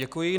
Děkuji.